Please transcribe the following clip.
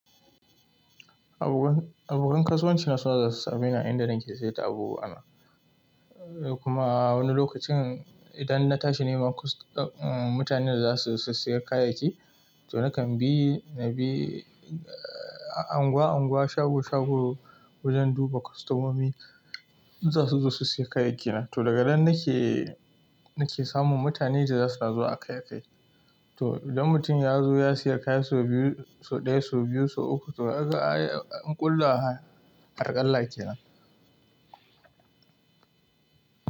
Abokan kasuwanci na suna zuwa su same ni a inda nake sayar da abubuwa na, sai kuma wani lokacin idan na tashi neman mutanen da za su saya kayayyaki, to nakan bi na bi anguwa anguwa, shago shago wajen duba kostomomi za su zo su saya kayayyaki na. To daga nan nake, nake samun mutane da za suna zuwa aika kai. To idan mutum ya zo ya sayi kaya sau biyu, sau ɗaya, sau biyu, sau uku to haka an ƙulla harkalla kenan.